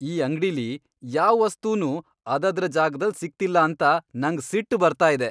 ಈ ಅಂಗ್ಡಿಲಿ ಯಾವ್ ವಸ್ತುನೂ ಅದದ್ರ ಜಾಗ್ದಲ್ ಸಿಗ್ತಿಲ್ಲ ಅಂತ ನಂಗ್ ಸಿಟ್ ಬರ್ತಾ ಇದೆ.